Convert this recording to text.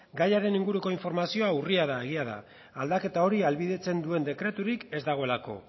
gaiaren inguruko informazioa urria da egia da aldaketa hori ahalbidetzen duen dekreturik ez dagoelako